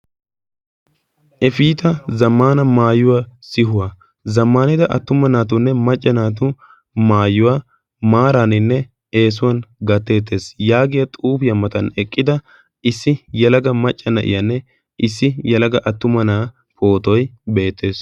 Eftah zammana maayuwaa sihuwaa zammaanida attuma naatunne maca naatu maayuwaa maaraaninne eesuwaan gattetes yaagiyaa xuufiyaa matan eqqida issi yelaga macca naiyaanne issi yelaga attuma na'aa pootoy beettes.